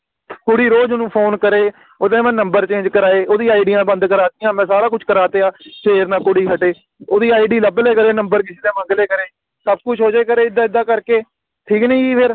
ਕੁੜੀ ਰੋਜ਼ ਓਹਨੂੰ Phone ਕਰੇ ਓਹਦੇ ਮੈਂ ਨੰਬਰ Change ਕਰਾਏ ਓਹਦੀ ਆਈਡਿਆ ਬੰਦ ਕਰਤੀਆਂ ਮੈਂ ਸਾਰਾ ਕੁਛ ਕਰਾ ਤੇਆ ਫੇਰ ਨਾ ਕੁੜੀ ਹਟੇ ਓਹਦੀ ਆਈਡੀ ਲੱਭ ਲਿਆ ਕਰੇ ਨੰਬਰ ਕਿਸੇ ਟੋਹ ਮੰਗ ਲਿਆ ਕਰੇ ਸਭ ਕੁਝ ਹੋ ਜਾਇਆ ਕਰੇ ਇਦਾ ਇਦਾ ਕਰਕੇ ਠੀਕ ਨੀ ਗਈ ਫਿਰ